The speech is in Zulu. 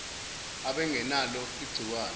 aban genalo ingciwane